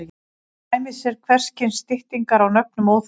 Til dæmis eru hvers kyns styttingar á nöfnum óþarfar.